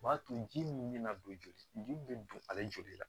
O b'a to ji min bɛ na don joli min bɛ don ale joli la